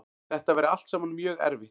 Þetta væri allt saman mjög erfitt